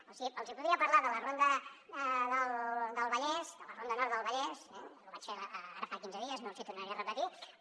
o sigui els hi podria parlar de la ronda del vallès de la ronda nord del vallès ho vaig fer ara fa quinze dies no els hi tornaré a repetir però